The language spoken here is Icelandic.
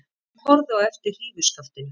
Hún horfði á eftir hrífuskaftinu.